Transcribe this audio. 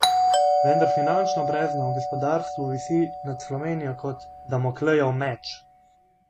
Vendar finančno brezno v gospodarstvu visi nad Slovenijo kot Damoklejev meč.